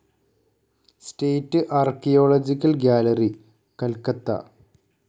state archaeological gallery, Calcutta